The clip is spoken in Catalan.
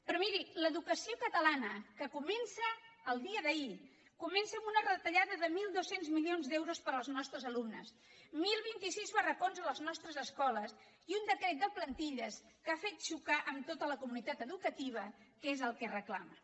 però miri l’educació catalana que comença el dia d’ahir comença amb una retallada de mil dos cents milions d’euros per als nostres alumnes deu vint sis barracons a les nostres escoles i un decret de plantilles que ha fet xocar amb tota la comunitat educativa que és el que reclama